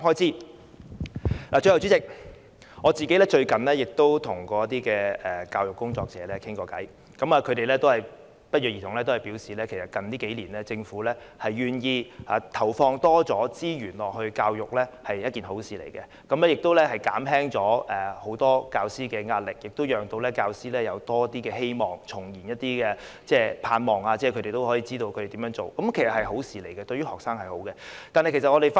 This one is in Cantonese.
最後，代理主席，我最近曾與一些教育工作者交談，他們不約而同地表示，近數年政府願意投放更多資源在教育方面是好事，可以減輕很多教師的壓力，也讓教師看到多一些希望，重燃他們的盼望，讓他們知道怎樣做下去，這是一件好事，而對於學生也是好事。